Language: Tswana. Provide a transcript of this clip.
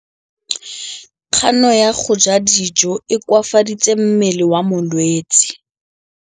Kganô ya go ja dijo e koafaditse mmele wa molwetse.